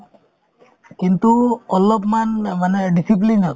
কিন্তু অলপমান অ মানে discipline ত